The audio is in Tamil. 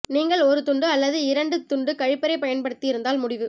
நீங்கள் ஒரு துண்டு அல்லது இரண்டு துண்டு கழிப்பறை பயன்படுத்தி இருந்தால் முடிவு